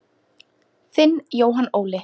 Þinn Jóhann Óli.